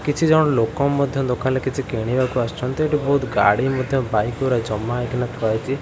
କିଛି ଜଣ ଲୋକ ମଧ୍ୟ ଦୋକାନ ରୁ କିଛି କିଣିବାକୁ ଆସିଛନ୍ତି ଏଠି ବହୁତ୍ ଗାଡ଼ି ମଧ୍ୟ ବାଇକ ଗୁରା ଜମା ହେଇକି ଥୁଆ ହେଇଛି।